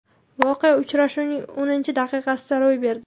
Voqea uchrashuvning o‘ninchi daqiqasida ro‘y berdi.